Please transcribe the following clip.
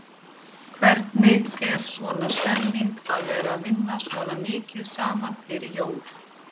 Hvernig er svona stemningin að vera vinna svona mikið saman fyrir jól?